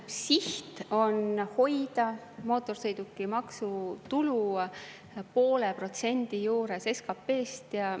Siht on hoida mootorsõidukimaksu tulu poole protsendi juures SKP-st.